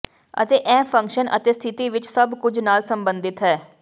ਅਤੇ ਇਹ ਫੰਕਸ਼ਨ ਅਤੇ ਸਥਿਤੀ ਵਿਚ ਸਭ ਕੁਝ ਨਾਲ ਸੰਬੰਧਿਤ ਹੈ